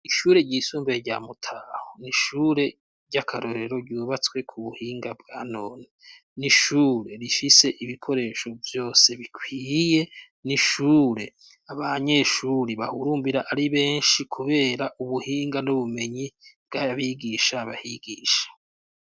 Ishure ryisumbuye rya Mutaho, ni ishure ry'akarorero ryubatswe ku buhinga bwa none. Ni ishure rifise ibikoresho vyose bikwiye, ni ishure abanyeshuri bahurumbira ari benshi kubera ubuhinga n'ubumenyi bw'abigisha bahigisha.